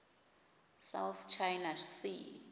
south china sea